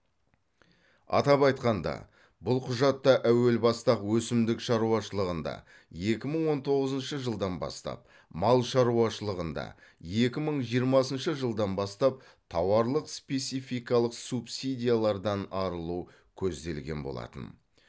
атап айтқанда бұл құжатта әуел баста ақ өсімдік шаруашылығында екі мың он тоғызыншы жылдан бастап мал шаруашылығында екі мың жиырмасыншы жылдан бастап тауарлық спецификалық субсидиялардан арылу көзделген болатын